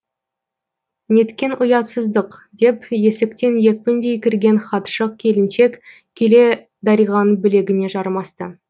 неткен ұятсыздық деп есіктен екпіндей кірген хатшы келіншек келе дариғаның білегіне жармасты